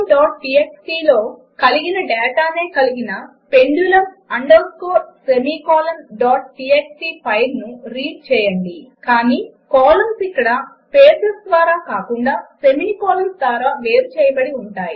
pendulumtxtలో కలిగిన డాటానే కలిగిన పెండులుం అండర్స్కోర్ semicolonటీఎక్స్టీ ఫైలును రీడ్ చేయండి కానీ కాలమ్స్ ఇక్కడ స్పేసెస్ ద్వారా కాకుండా సెమికోలన్స్ ద్వారా వేరు చేయబడి ఉంటాయి